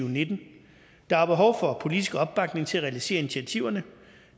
og nitten der er behov for politisk opbakning til at realisere initiativerne